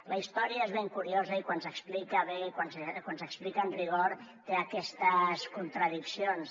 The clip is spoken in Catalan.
la història és ben curiosa i quan s’explica bé quan s’explica amb rigor té aquestes contradiccions